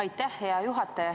Aitäh, hea juhataja!